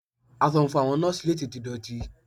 Aṣọ funfun àwọn Nọ́ọ́sì le tètè dọ̀tí.